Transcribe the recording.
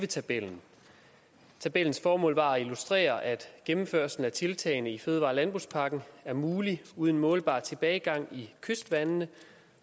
tabellen tabellens formål var at illustrere at gennemførelsen af tiltagene i fødevare og landbrugspakken er mulig uden målbar tilbagegang i kystvandene